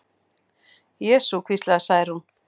Jesú, hvíslaði Særún.